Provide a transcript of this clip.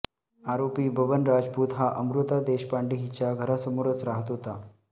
आरोपी बबन रजपूत हा अमृता देशपांडे हिच्या घरासमोरच राहत होता